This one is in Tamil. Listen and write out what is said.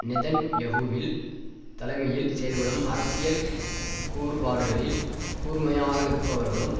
நெதன்யஹுவில் தலைமையில் செயல்படும் அரசியல் கூறுபாடுகளில் கூர்மையாக இருப்பவர்களும்